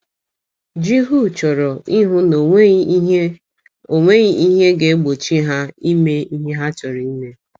Jihu chọrọ ịhụ na o nweghị ihe o nweghị ihe ga - egbochi ha ime ihe ha chọrọ ime.